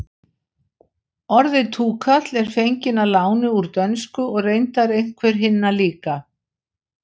orðið túkall er fengið að láni úr dönsku og reyndar einhver hinna líka